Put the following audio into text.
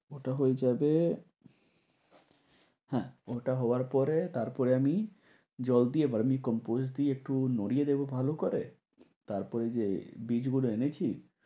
মোটা হয়ে যাবে। হ্যাঁ মোটা হবার পরে তারপরে আমি জল দিয়ে বা compost দিয়ে একটু নড়িয়ে দিবো ভালো করে, তারপরে ঐযে বীজগুলো এনেছি